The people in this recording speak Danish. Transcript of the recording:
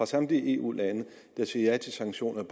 samtlige eu lande der sagde ja til sanktioner